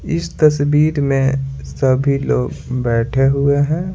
इस तस्वीर में सभी लोग बैठे हुए हैं।